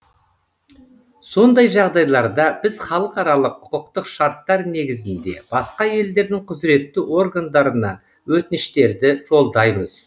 сондай жағдайларда біз халықаралық құқықтық шарттар негізінде басқа елдердің құзыретті органдарына өтініштерді жолдаймыз